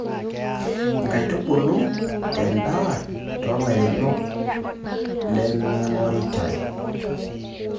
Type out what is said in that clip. Nkaitubulu te ndaa too lairemok lemeingoritae.